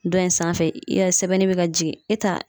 Dɔ in sanfɛ yala sɛbɛnni be ka jigin e t'a